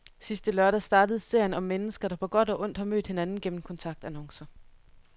Sidste lørdag startede serien om mennesker, der på godt og ondt har mødt hinanden gennem kontaktannoncer.